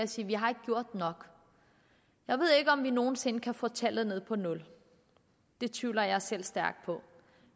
sige vi har ikke gjort nok jeg ved ikke om vi nogen sinde kan få tallet ned på nul det tvivler jeg selv stærkt på